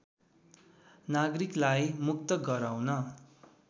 नागरिकलाई मुक्त गराउन